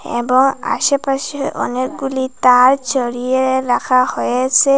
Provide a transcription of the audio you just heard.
এবং আশেপাশে অনেকগুলি তার ছড়িয়ে রাখা হয়েসে।